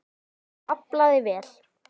Og aflaði vel.